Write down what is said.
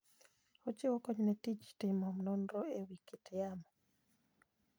Ochiwo kony ne tij timo nonro e wi kit yamo.